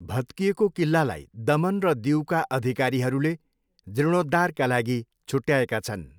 भत्किएको किल्लालाई दमन र दिऊका अधिकारीहरूले जीर्णोद्धारका लागि छुट्याएका छन्।